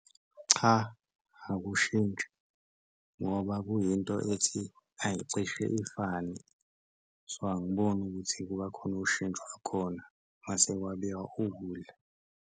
Cha, akushintshi ngoba kuyinto ethi ayicishe ifane so, angiboni ukuthi kuba khona ushintsho olukhona mase kwabiwa ukudla.